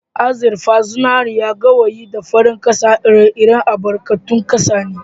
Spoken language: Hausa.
Azurfa, zinariya, gawayi da farar kasa ire- iren albarkatun kasa ne